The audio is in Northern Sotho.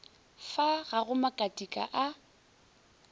fa ga go makatika a